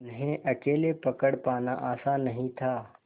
उन्हें अकेले पकड़ पाना आसान नहीं था